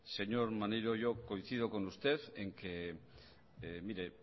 señor maneiro yo coincido con usted en que mire